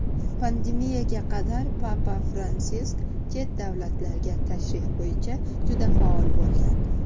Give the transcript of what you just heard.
Pandemiyaga qadar Papa Fransisk chet davlatlarga tashrif bo‘yicha juda faol bo‘lgan.